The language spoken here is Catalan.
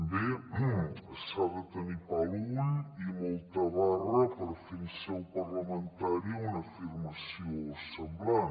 bé s’ha de tenir pa a l’ull i molta barra per fer en seu parlamentària una afirmació semblant